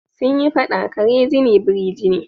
Sun yi faɗa "kare jini biri jini"